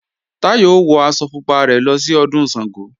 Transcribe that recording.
Táyọ̀ ó wọ aṣọ pupa rẹ̀ lọ sí Ọdún Ṣàngó